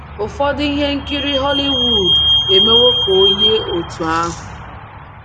um Ụfọdụ ihe um nkiri Hollywood emewo ka o yie otú ahụ.